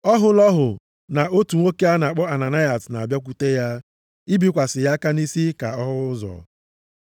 Ọ hụla ọhụ na otu nwoke a na-akpọ Ananayas na-abịakwute ya, ibikwasị ya aka nʼisi ka ọ hụ ụzọ.”